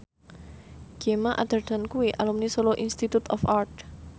Gemma Arterton kuwi alumni Solo Institute of Art